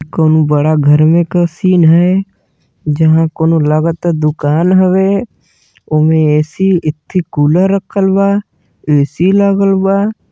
कोनो बड़ा घर मेके सीन है। जहाँ कोनो लागता दुकान हवे। ओमे और ए.सी. कूलर राखल बा। एसी लागल बा।